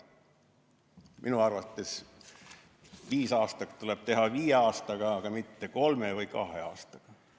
Minu arvates viisaastak tuleb teha viie aastaga, aga mitte kolme või kahe aastaga.